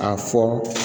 A fɔ